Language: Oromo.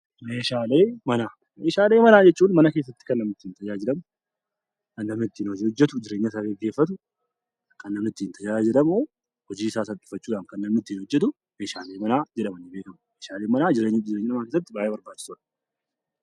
Meeshaalee manaa. Meeshalee manaa jechuun mana keessatti kan namni ittiin tajaajilamu, kan namni ittiin hoji hojjetu jireenya isaa geggeeffatu, kan namni ittiin tajaajilamu, hojii isaa salphifachuu dhaaf kan namni ittiin hojjetu 'Meeshaalee manaa' jedhamanii beekamu. Meeshaaleen manaa jireenya namaa keessatti baay'ee barbaachisoodha.